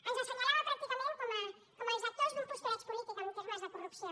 ens assenyalava pràcticament com els actors d’un postureig polític en termes de corrupció